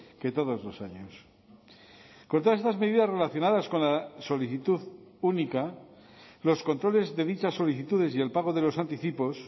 que todos los años con todas estas medidas relacionadas con la solicitud única los controles de dichas solicitudes y el pago de los anticipos